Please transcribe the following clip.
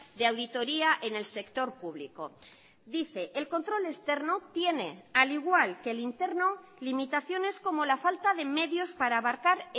de auditoría en el sector público dice el control externo tiene al igual que el interno limitaciones como la falta de medios para abarcar